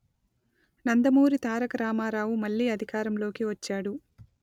నందమూరి తారక రామారావు మళ్ళీ అధికారంలోకి వచ్చాడు